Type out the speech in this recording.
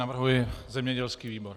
Navrhuji zemědělský výbor.